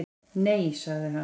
Nei, sagði hann.